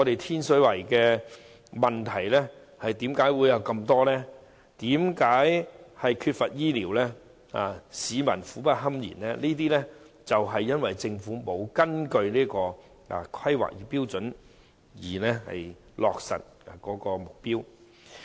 天水圍之所以有眾多問題，包括缺乏醫療服務，令市民苦不堪言，正是因為政府沒有根據《規劃標準》落實目標。